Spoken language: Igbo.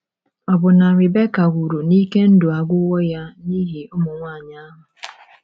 Ọbụna Rebeka kwuru na ike ndụ agwụwo ya n’ihi ụmụ nwanyị ahụ.